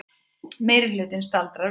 Meirihlutinn staldri við